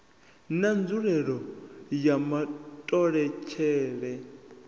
na nzulelele ya matholetwe a